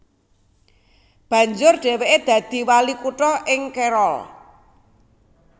Banjur dhèwèké dadi wali kutha ing Carroll